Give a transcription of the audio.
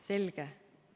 Selge.